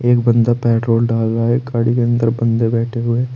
एक बंदा पेट्रोल डाल रहा है गाड़ी के अंदर बंदे बैठें हुएं हैं।